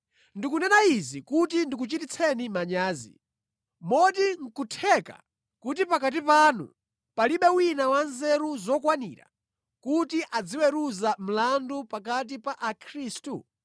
Ndikunena izi kuti ndikuchititseni manyazi. Moti nʼkutheka kuti pakati panu palibe wina wanzeru zokwanira kuti aziweruza mlandu pakati pa Akhristu?